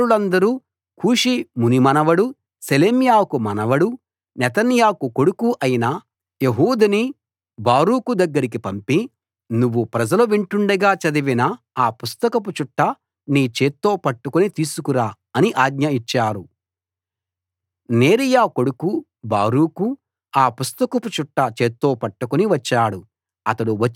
అధికారులందరూ కూషీ మునిమనవడు షెలెమ్యాకు మనవడు నెతన్యాకు కొడుకు అయిన యెహూదిని బారూకు దగ్గరికి పంపి నువ్వు ప్రజలు వింటుండగా చదివిన ఆ పుస్తకపు చుట్ట నీ చేత్తో పట్టుకుని తీసుకురా అని ఆజ్ఞ ఇచ్చారు నేరీయా కొడుకు బారూకు ఆ పుస్తకపు చుట్ట చేత్తో పట్టుకుని వచ్చాడు